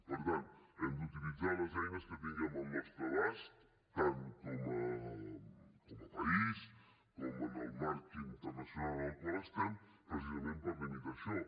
per tant hem d’utilitzar les eines que tinguem al nostre abast tant com a país com en el marc internacional en el qual estem precisament per limitar això